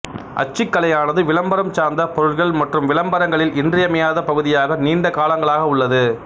அச்சுக்கலையானது விளம்பரம் சார்ந்த பொருட்கள் மற்றும் விளம்பரங்களில் இன்றியமையாத பகுதியாக நீண்ட காலங்களாக உள்ளது